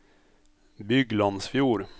Byglandsfjord